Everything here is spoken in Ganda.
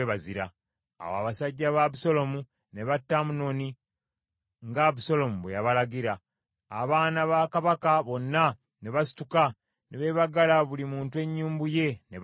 Awo abasajja ba Abusaalomu ne batta Amunoni nga Abusaalomu bwe yabalagira. Abaana ba kabaka bonna ne basituka ne beebagala buli muntu ennyumbu ye ne badduka.